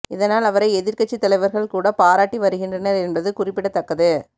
இதனால் அவரை எதிர்க்கட்சி தலைவர்கள் கூட பாராட்டி வருகின்றனர் என்பது குறிப்பிடத்தக்கது